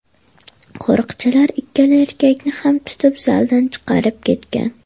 Qo‘riqchilar ikkala erkakni ham tutib, zaldan chiqarib ketgan.